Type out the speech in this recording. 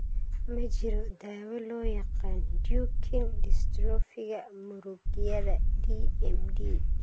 Ma jiro daawo loo yaqaan Duchenne dystrophiga muragyada (DMD).